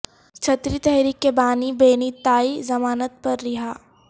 چھتری تحریک کے بانی بینی تائی ضمانت پر رہا